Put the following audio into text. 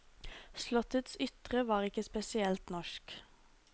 Slottets ytre var ikke spesielt norsk.